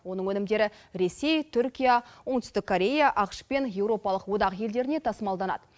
оның өнімдері ресей түркия оңтүстік корея ақш пен еуропалық одақ елдеріне тасымалданады